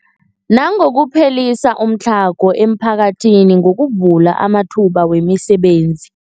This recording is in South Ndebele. Nangokuphelisa umtlhago emiphakathini ngokuvula amathuba wemisebenzi.